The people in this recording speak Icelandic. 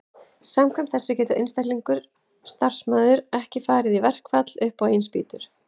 samkvæmt þessu getur einstakur starfsmaður ekki farið í verkfall upp á eigin spýtur